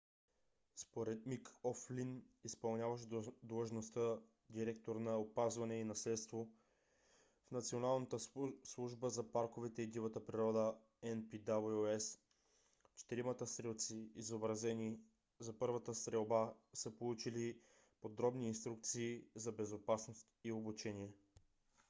според мик о'флин изпълняващ длъжността директор на опазване и наследство в националната служба за парковете и дивата природа npws четиримата стрелци избрани за първата стрелба са получили подробни инструкции за безопасност и обучение